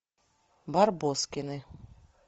барбоскины